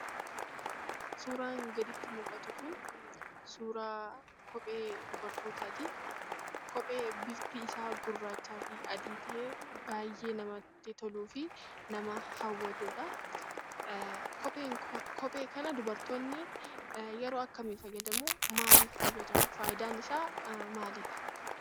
Suuraan gaditti mul'atu kun suuraa kophee dubartootaati. Kophee bifti isaa gurraachaa fi adii ta'ee baay'ee namatti toluufi nama hawwatudha. Kophee kana dubartoonni yeroo akkamii fayyadamuu? Maalif fayyadamu? Faayidaan isaa maalidha?